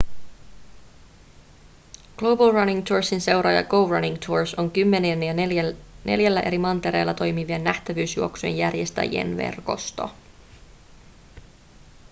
global running toursin seuraaja go running tours on kymmenien ja neljällä eri mantereella toimivien nähtävyysjuoksujen järjestäjien verkosto